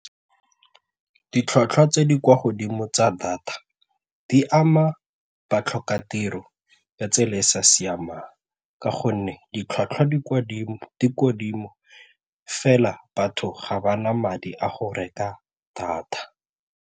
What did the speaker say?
Ditlhwatlhwa tse di kwa godimo tsa data di ama batlhokatiro ya tsela e e sa siamang ka gonne ditlhwatlhwa di kwa godimo fela batho ga ba na madi a go reka data.